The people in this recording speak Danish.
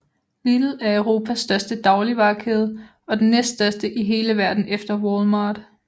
Lidl er Europas største dagligvarekæde og den næststørste i hele verden efter Walmart